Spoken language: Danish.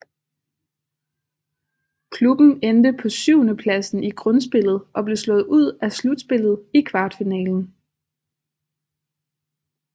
Klubben endte på syvendepladsen i grundspillet og blev slået ud af slutspillet i kvartfinalen